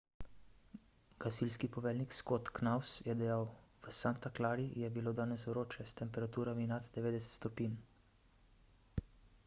gasilski poveljnik scott knous je dejal v santa clari je bilo danes vroče s temperaturami nad 90 stopinj